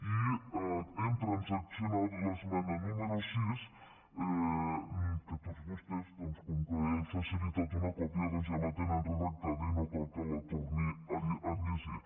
i hem transaccionat l’esmena número sis que tots vostès doncs com que n’he facilitat una còpia ja la tenen redactada i no cal que la torni a llegir